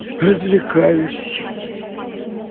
развлекаюсь